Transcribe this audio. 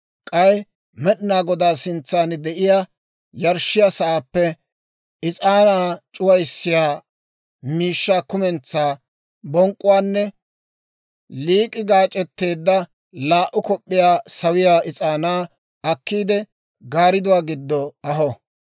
K'ay Med'inaa Godaa sintsan de'iyaa yarshshiyaa sa'aappe is'aanaa c'uwissiyaa miishshaa kumentsaa bonk'k'uwaanne, liik'i gaac'etteedda laa"u kop'p'iyaa sawiyaa is'aanaa akkiide, gaaridduwaa giddo aho.